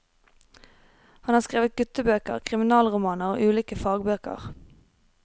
Han har skrevet guttebøker, kriminalromaner og ulike fagbøker.